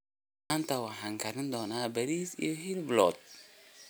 Maanta waxaan kari doonaa bariis iyo hilib lo'aad.